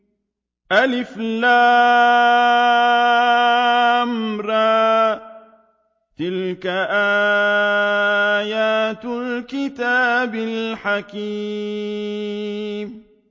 الر ۚ تِلْكَ آيَاتُ الْكِتَابِ الْحَكِيمِ